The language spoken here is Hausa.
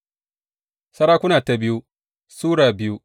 biyu Sarakuna Sura biyu